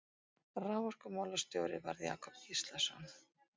Raforkumálastjóri varð Jakob Gíslason.